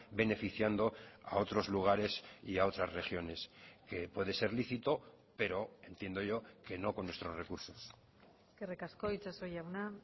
beneficiando a otros lugares y a otras regiones que puede ser lícito pero entiendo yo que no con nuestros recursos eskerrik asko itxaso jauna